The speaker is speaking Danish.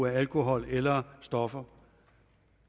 alkohol eller stoffer